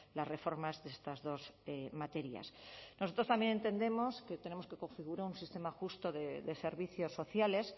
las reformas de estas dos materias nosotros también entendemos que tenemos que configurar un sistema justo de servicios sociales